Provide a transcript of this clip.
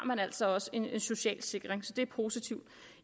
altså også en social sikring så det er positivt